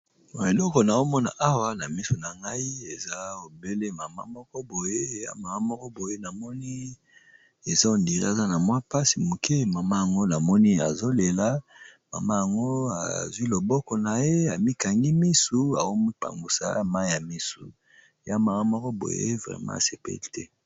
Eloko nazomona awa na misu na ngai eza obele mama moko boye ya mama moko boye namoni eza ondiri aza na mwa mpasi moke mama yango namoni azolela mama yango azwi loboko na ye amikangi misu aomipangusa mai ya misu ya mama moko boye vrema asepele te.